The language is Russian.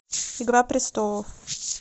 игра престолов